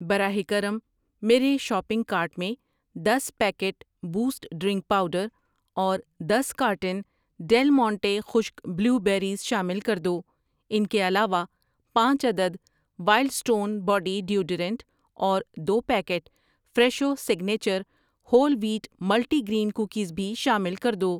براہ کرم، میرے شاپنگ کارٹ میں دس پیکٹ بوسٹ ڈرنک پاؤڈر اور دس کارٹن ڈیل مونٹے خشک بلیو بیریز شامل کر دو۔ ان کے علاوہ، پانچ عدد وائلڈ سٹون باڈی ڈیوڈورنٹ اور دو packet Fresho signature whole wheat multi grain cookies بھی شامل کر دو۔